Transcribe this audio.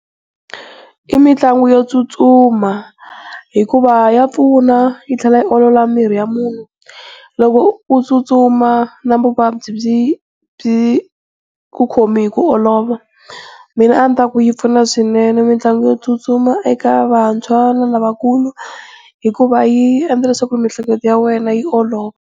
I mitlangu yo tsutsuma hikuva ya pfuna yi tlhela yi olola miri wa munhu, loko u tsutsuma na vuvabyi byi byi ku khomi hi ku olova. Mina a ni ta ku yi pfuna swinene mitlangu yo tsutsuma eka vantshwa na lavakulu hikuva yi endla ku miehleketo ya wena yi olova.